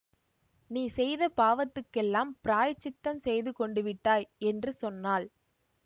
நீ செய்த பாவத்துக்கெல்லாம் பிராயசித்தம் செய்து கொண்டுவிட்டாய் என்று சொன்னாள்